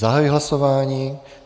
Zahajuji hlasování.